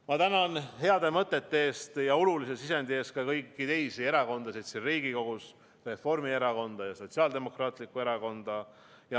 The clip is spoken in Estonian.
Ma tänan heade mõtete eest ja olulise sisendi eest ka kõiki teisi erakondasid siin Riigikogus: Reformierakonda ja Sotsiaaldemokraatlikku Erakonda.